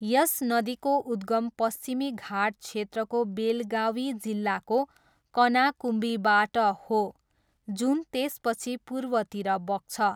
यस नदीको उद्गम पश्चिमी घाट क्षेत्रको बेलगावी जिल्लाको कनाकुम्बीबाट हो, जुन त्यसपछि पूर्वतिर बग्छ।